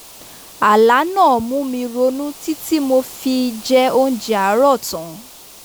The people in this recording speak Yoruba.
àlá náà mú mi ronú títí tí mo fi jẹ oúnjẹ àárọ̀ tán